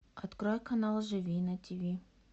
открой канал живи на ти ви